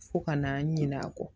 Fo ka na ɲina a kɔ